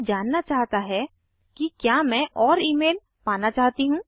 यह जानना चाहता है कि क्या मैं और ईमेल पाना चाहती हूँ